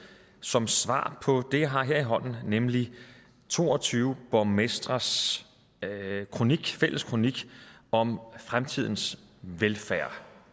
som svar på det jeg har her i hånden nemlig to og tyve borgmestres fælles kronik om fremtidens velfærd